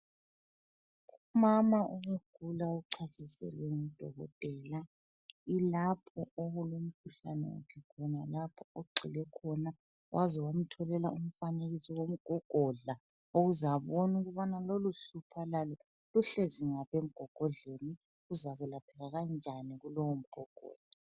Umama obegula uchasiselwe ngudokotela ilapho okulomkhuhlane khona lapho ogxile khona waze wamtholela umfanekiso womgogodla ukuze abone ukubana loluhlupho alalo luhlezi ngaphi emgogodleni luzakwelapheka kanjani kulowu mgogodla.